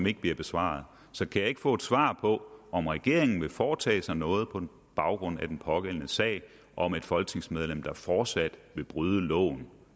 ikke besvaret så kan jeg ikke få et svar på om regeringen vil foretage sig noget på baggrund af den pågældende sag om et folketingsmedlem der fortsat vil bryde loven